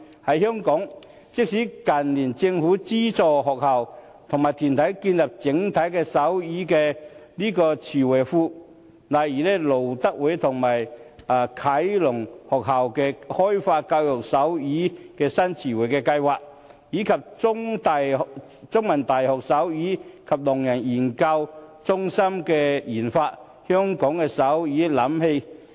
在香港，政府近年資助學校和團體建立手語詞彙庫，例如資助路德會啟聾學校開發教學手語新詞彙計劃，以及資助香港中文大學的手語及聾人研究中心研發香港手語瀏覽器。